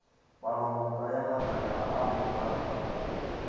palomoka ya matlakala a memorantamo